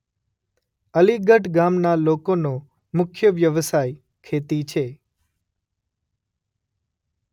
અલીગઢ ગામના લોકોનો મુખ્ય વ્યવસાય ખેતી છે.